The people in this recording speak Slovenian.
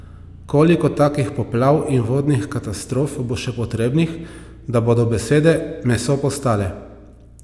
Koliko takih poplav in vodnih katastrof bo še potrebnih, da bodo besede meso postale?